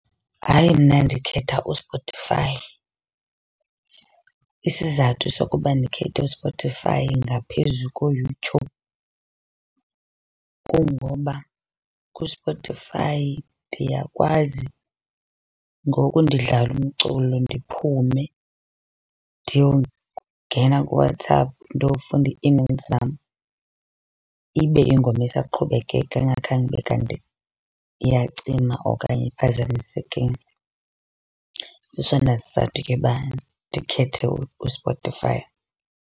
Hayi mna ndikhetha uSpotify. Isizathu sokuba ndikhethe uSpotify ngaphezu koYouTube kungoba kuSpotify ndiyakwazi ngoku ndidlala umculo ndiphume ndiyongena kuWhatsApp, ndiyofunda ii-emails zam, ibe ingoma isaqhubekeka ingakhange ibe kanti iyacima okanye iphazamisekile. Sisona sizathu ke uba ndikhethe uSpotify.